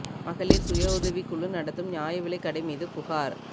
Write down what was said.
மகளிா் சுய உதவிக் குழு நடத்தும் நியாய விலைக் கடை மீது புகாா்